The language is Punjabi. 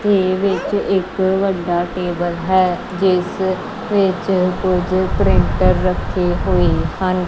ਤੇ ਵਿਚ ਇੱਕ ਵੱਡਾ ਟੇਬਲ ਹੈ ਜਿਸ ਵਿੱਚ ਕੋਈ ਪ੍ਰਿੰਟਰ ਰੱਖੇ ਹੋਈ ਹਨ।